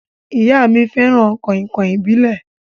Ìyá mí fẹràn kàìnkàìn ìbílẹ̀.